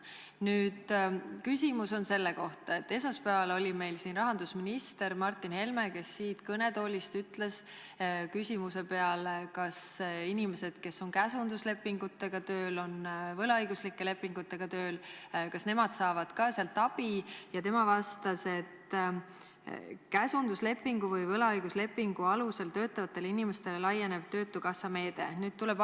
Minu küsimus on selle kohta, et esmaspäeval oli meil siin rahandusminister Martin Helme, kes siit kõnetoolist küsimuse peale, kas inimesed, kes on käsunduslepingutega tööl, kes on võlaõiguslike lepingutega tööl, saavad ka sealt abi, vastas, et käsunduslepingu või võlaõiguslepingu alusel töötavatele inimestele töötukassa meede laieneb.